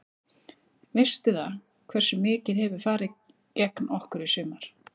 Veistu það, hversu mikið hefur farið gegn okkur í sumar?